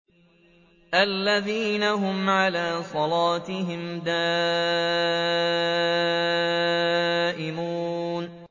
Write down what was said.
الَّذِينَ هُمْ عَلَىٰ صَلَاتِهِمْ دَائِمُونَ